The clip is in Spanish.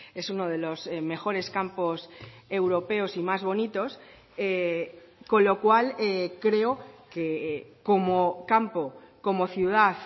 es uno de los mejores campos europeos y más bonitos con lo cual creo que como campo como ciudad